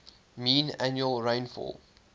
mean annual rainfall